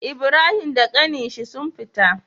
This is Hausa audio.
Ibrahim da ƙanin shi sun fita